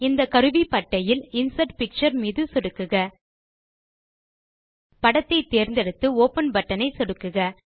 இந்த கருவிப்பட்டையில் insert picture மீது சொடுக்குக படத்தை தேர்ந்தெடுத்து ஒப்பன் பட்டன் ஐ சொடுக்குக